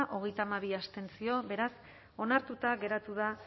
hogeita hamabi abstentzio beraz onartuta geratu da